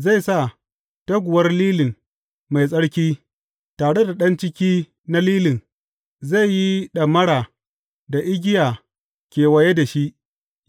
Zai sa toguwar lilin mai tsarki, tare da ɗan ciki na lilin; zai yi ɗamara da igiya kewaye da shi,